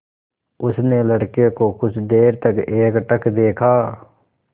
उसने लड़के को कुछ देर तक एकटक देखा